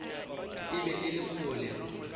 e be e le kgole